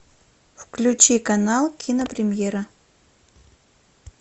включи канал кинопремьера